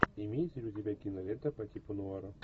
имеется ли у тебя кинолента по типу нуара